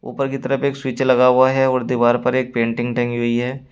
ऊपर की तरफ एक स्विच लगा हुआ है और दीवार पर एक पेंटिंग टंगी हुई है।